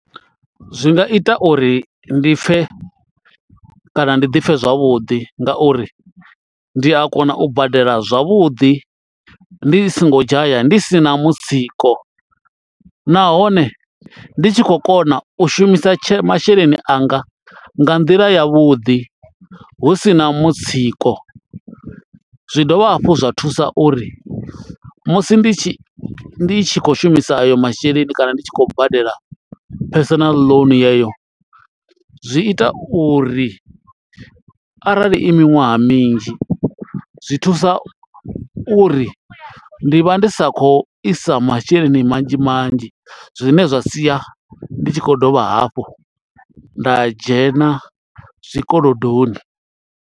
Zwi nga ita uri ndi pfhe kana ndi ḓipfhe zwavhuḓi ngauri ndi a kona u badela zwavhuḓi ndi songo dzhaya ndi sina mutsiko nahone ndi tshi khou kona u shumisa tshe masheleni anga nga nḓila ya vhuḓi hu sina mutsiko zwi dovha hafhu zwa thusa uri musi ndi tshi ndi tshi khou shumisa ayo masheleni kana ndi tshi khou badela personal loan yeyo zwi ita uri arali i miṅwaha minzhi zwithusa uri ndi vha ndi sa kho isa masheleni manzhi manzhi zwine zwa sia ndi tshi khou dovha hafhu nda dzhena zwikolodoni.